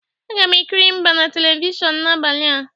Aga m ekiri mgba na Televishọnụ n'abalị a.